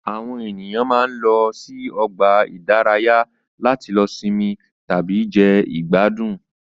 Àwọn ènìyàn máa ń lọ sí ọgbà ìdárayá láti lọ sinmi tàbí jẹ ìgbádùn